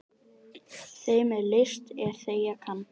Þeim er list er þegja kann.